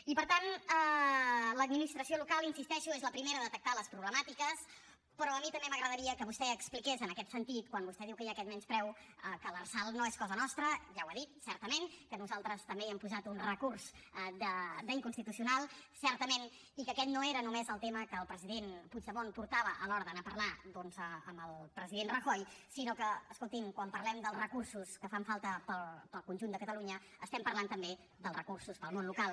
i per tant l’administració local hi insisteixo és la primera a detectar les problemàtiques però a mi també m’agradaria que vostè expliqués en aquest sentit quan vostè diu que hi ha aquest menyspreu que l’lrsal no és cosa nostra ja ho ha dit certament que nosaltres també hi hem posat un recurs d’inconstitucional certament i que aquest no era només el tema que el president puigdemont portava a l’hora d’anar a parlar doncs amb el president rajoy sinó que escoltin quan parlem dels recursos que fan falta per al conjunt de catalunya estem parlant també dels recursos per al món local